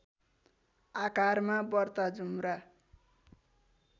आकारमा बर्ता जुम्रा